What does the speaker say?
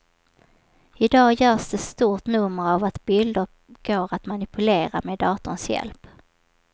I dag görs det stort nummer av att bilder går att manipulera med datorns hjälp.